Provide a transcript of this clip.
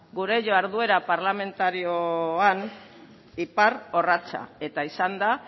gure jarduera parlamentarioan iparrorratza eta izan da